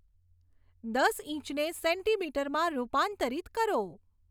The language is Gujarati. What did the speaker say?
દસ ઈંચને સેન્ટીમીટરમાં રૂપાંતરિત કરો